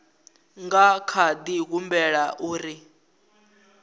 nga kha di humbela uri